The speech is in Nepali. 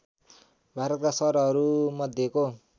भारतका सहरहरू मध्येको